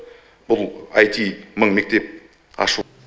бұл аити мың мектеп ашу